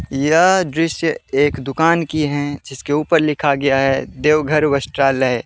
यह दृश्य एक दुकान की है जिसके ऊपर लिखा गया है देवघर वस्त्रालय।